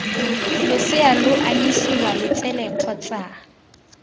losea lo anyisiwa letsele kgotsa